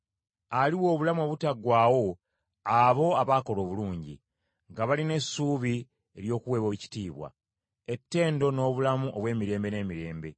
Aliwa obulamu obutaggwaawo abo abaakola obulungi, nga balina essuubi ery’okuweebwa ekitiibwa, ettendo n’obulamu obw’emirembe n’emirembe.